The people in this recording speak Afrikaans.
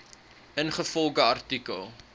ingevolge artikel